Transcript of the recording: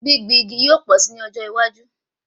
Gbìngbin igi yóò pọ̀ si ní ọjọ́ iwájú